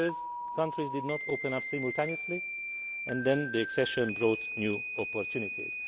Because countries did not open up simultaneously, and then accession brought new opportunities.